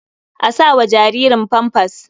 A sa wa jaririn famfas.